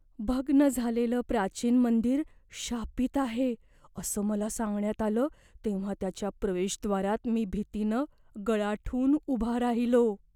भग्न झालेलं प्राचीन मंदिर शापित आहे असं मला सांगण्यात आलं तेव्हा त्याच्या प्रवेशद्वारात मी भीतीनं गळाठून उभा राहिलो.